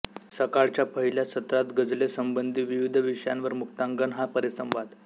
सकाळच्या पहिल्या सत्रात गझलेसंबंधी विविध विषयांवर मुक्तांगण हा परिसंवाद